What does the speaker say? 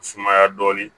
Sumaya dɔɔnin